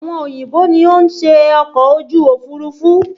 Àwọn òyìnbó ni ó ṣe ọkọ̀ ojú òfurufú